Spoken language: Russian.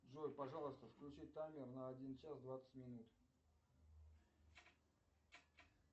джой пожалуйста включи таймер на один час двадцать минут